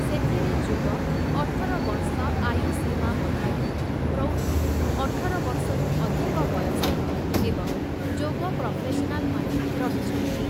ସେଥିରେ ଯୁବ ଅଠର ବର୍ଷ ଆୟୁସୀମା ମଧ୍ୟରେ, ପ୍ରୌଢ଼ ଅଠର ବର୍ଷରୁ ଅଧିକ ବୟସର ଏବଂ ଯୋଗ ପ୍ରଫେସନାଲମାନେ ରହିଛନ୍ତି ।